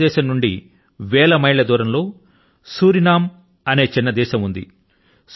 భారతదేశం నుండి వేల మైళ్ళ దూరం లో సురినామ్ అనే చిన్న దేశం ఉంది